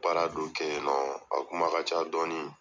Baara dɔ kɛ yen nɔn a kuma ka ca dɔɔni.